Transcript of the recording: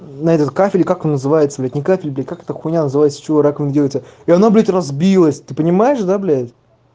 на этот кафель как он называется ведь ни кафель блядь как это хуйня называется из чего раковина делается и оно блядь разбилось ты понимаешь да блядь